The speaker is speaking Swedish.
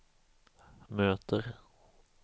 möter